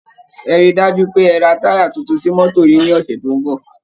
Ẹ rí i dájú pé ẹ ra táyà tuntun sí mọ́tò yìí ní ọ̀sẹ̀ tó ń bọ̀